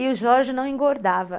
E o Jorge não engordava.